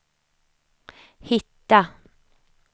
hitta